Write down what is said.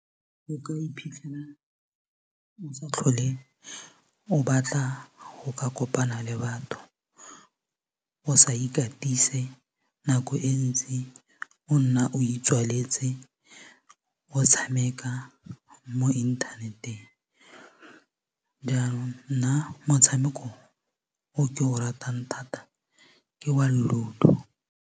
O ka iphitlhela o sa tlhole o batla go ka kopana le batho o sa ikatise nako e ntsi o nna o itswaletse o tshameka mo inthaneteng jaanong nna motshameko o ke o ratang thata ke wa LUDO.